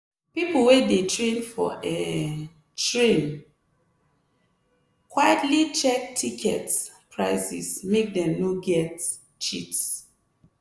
people wey dey train for um train quietly check ticket prices make dem no get cheat.